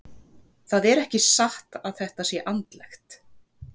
Það er ekki satt að þetta sé andlegt.